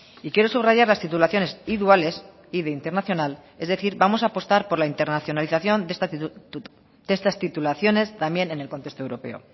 y quiero subrayar las titulaciones iduales y de internacional es decir vamos a apostar por la internacionalización de estas titulaciones también en el contexto europeo